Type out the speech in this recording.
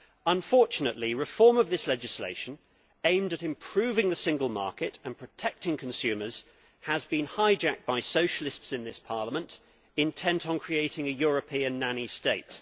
Unfortunately, reform of this legislation aimed at improving the single market and protecting consumers has been hijacked by Socialists in this Parliament intent on creating a European nanny state.